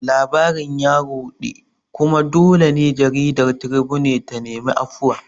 Labarin ya ruɗe, kuma dole ne jaridar Tribune ta nemi afuwa